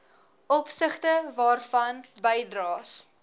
opsigte waarvan bydraes